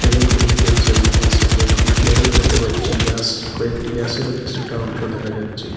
Heavy ভেইকেলসও লিখা আছে কয়েকটি ফ্ল্যাগও দেখতে পাচ্ছি গাছ কয়েকটি গাছেরও কিছুটা অংশ দেখা যাচ্ছে।